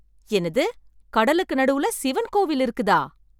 என்னது, கடலுக்கு நடுவுல சிவன் கோவில் இருக்குதா?